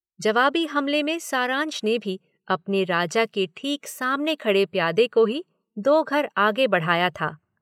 जवाबी हमले में सारांश ने भी अपने राजा की ठीक सामने खड़े प्यादे को ही दो घर आगे बढ़ाया था।